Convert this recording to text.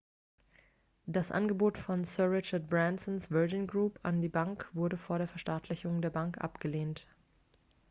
das angebot von sir richard bransons virgin group an die bank wurde vor der verstaatlichung der bank abgelehnt